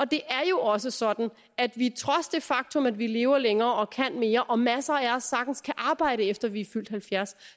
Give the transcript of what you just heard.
det er jo også sådan at vi trods det faktum at vi lever længere og kan mere og at masser af os sagtens kan arbejde efter vi er fyldt halvfjerds